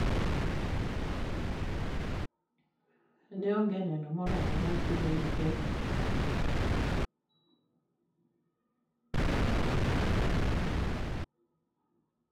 Ne ong'e neno morormo mar tude gi ketho.